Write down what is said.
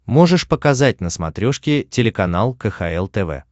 можешь показать на смотрешке телеканал кхл тв